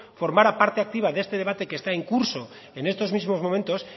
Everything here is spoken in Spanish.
formara parte activa de este debate que está en curso en estos mismos momentos